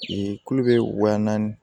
kulu bɛ wa naani